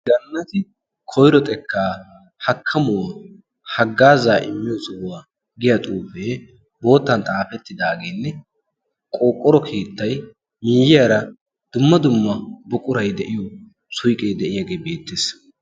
gaanati koiro xekkaa hakkamuwaa haggaa zaa7immiyo zohuwaa giya xuufee boottan xaafettidaageenne qooqqoro keettai miiyiyaara dumma dumma buqurai de7iyo suiqee de7iyaagee beettees